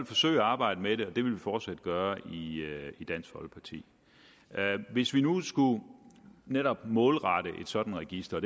forsøge at arbejde med det og det vil vi fortsat gøre i dansk folkeparti hvis vi nu netop målrette et sådant register